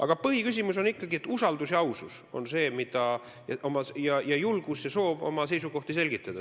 Aga põhiküsimus on ikkagi usaldus ja ausus ning julgus ja soov oma seisukohti selgitada.